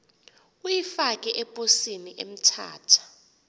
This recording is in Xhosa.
uyifake eposini emthatha